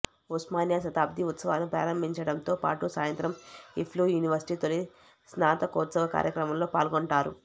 ఉస్మానియా శతాబ్ది ఉత్సవాలను ప్రారంభించడంతో పాటు సాయంత్రం ఇఫ్లూ యూనివర్శిటీ తొలి స్నాతకోత్సవ కార్యక్రమంలో పాల్గొంటారు